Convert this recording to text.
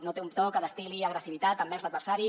no té un to que destil·li agressivitat envers l’adversari